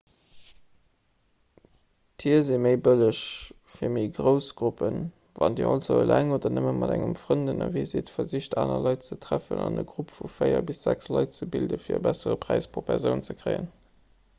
tier si méi bëlleg fir méi grouss gruppen wann dir also eleng oder nëmme mat engem frënd ënnerwee sidd versicht aner leit ze treffen an e grupp vu véier bis sechs leit ze bilden fir e bessere präis pro persoun ze kréien